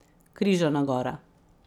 Križana gora.